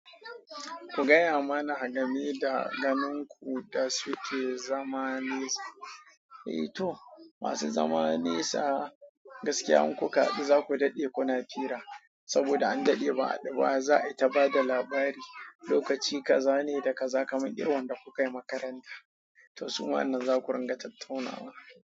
Ku gaya mana a gameda da ganin ku da suke zamanisu. Eh to, masu zamanisa gaskiya in kuka haɗu zaku daɗe kuna fira saboda an daɗe ba a haɗu ba za'a yi ta bada labari. Lokaci kaza ne da kaza kamar irin wanda kuka yi makaranta. To suma wannan nan zaku ringa tattaunawa.